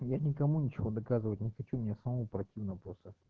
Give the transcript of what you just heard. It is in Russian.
я никому ничего доказывать не хочу мне самому противно просто